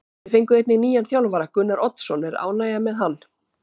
Þið fenguð einnig nýjan þjálfara, Gunnar Oddsson, er ánægja með hann?